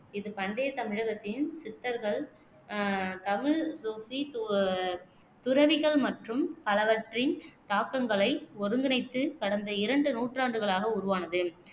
இது பண்டைய தமிழகத்தின் சித்தர்கள் தமிழ் சூஃபி து துறவிகள் மற்றும் பலவற்றின் தாக்கங்களை ஒருங்கிணைத்து கடந்த இரண்டு நூற்றாண்டுகளாக உருவானது